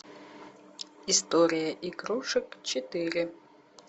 история игрушек четыре